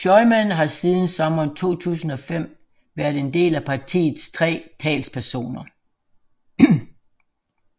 Schyman har siden sommeren 2005 været en af partiets tre talspersoner